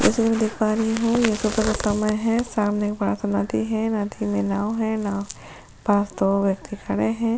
जैसा मैं देख पा रही हैं यह सुबह का समय है सामने बड़ा सा नदी है नदी में नाव है नाव के पास में दो व्यक्ति खड़े हैं।